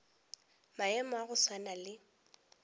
maemo a go swana le